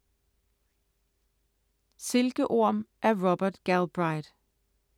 Silkeorm af Robert Galbraith